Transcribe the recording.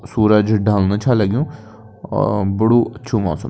सूरज ढल्नु छा लगयूं और बडू अच्छू मौसम।